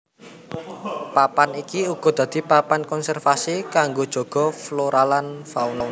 Papan iki uga dadi papan konservasi kanggo jaga floralan fauna